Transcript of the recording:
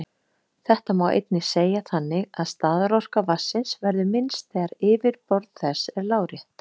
Þetta má einnig segja þannig að staðarorka vatnsins verður minnst þegar yfirborð þess er lárétt.